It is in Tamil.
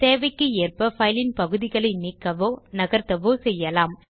தேவைக்கு ஏற்ப பைல் ன் பகுதிகளில் நீக்கவோ நகர்த்தவோ செய்யலாம்